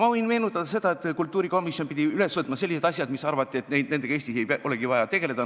Ma võin meenutada seda, et kultuurikomisjon pidi üles võtma sellised asjad, mille kohta arvati, et nendega ei olegi vaja Eestis tegelda.